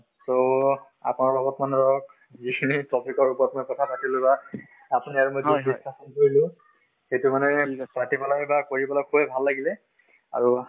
so, আপোনাৰ লগত মানে ধৰক যিখিনি topic ৰ ওপৰত মানে কথা পাতিলো বা আপুনি আৰু মই যিখিনি কথা কৰিলো সেইটো মানে পাতি পেলাই বা কৰি পেলাই খুবেই ভাল লাগিলে আৰু